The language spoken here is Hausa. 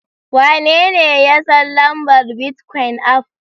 Wanene ya san lambar bitcoin aff?